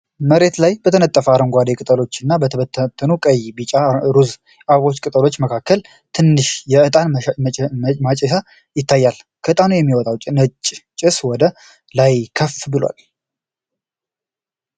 መሬት ላይ በተነጠፉ አረንጓዴ ቅጠሎችና በተበተኑ ቀይ፣ ቢጫና ሮዝ የአበባ ቅጠሎች መሃል ትንሽ የእጣን ማጨሻ ይታያል። ከእጣኑ የሚወጣ ነጭ ጭስ ወደ ላይ ከፍ ብሏል።